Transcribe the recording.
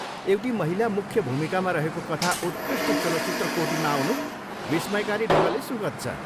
एउटी महिला मुख्य भूमिकामा रहेको कथा उत्कृष्ट चलचित्र कोटीमा आउनु विस्मयकारी ढङ्गले सुखद छ।